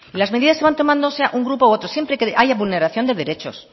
las medidas se van tomando sea un grupo u otro siempre que haya vulneración de derechos